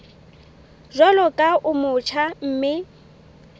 jwalo ka o motjha mme